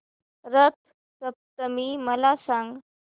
रथ सप्तमी मला सांग